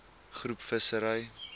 groep visserye